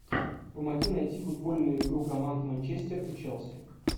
помоги найти футбольную игру команд манчестер и челси